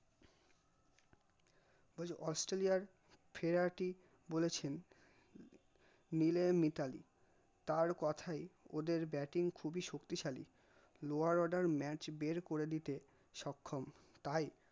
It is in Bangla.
আজ অস্ট্রেলিয়ার ফেরাটি বলেছেন মিলে মিতালী তার কথাই ওদের bating খুবই শক্তিশালী lower order match বের করে দিতে সক্ষম